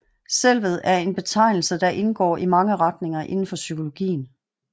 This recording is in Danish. Selvet er en betegnelse der indgår i mange retninger indenfor psykologien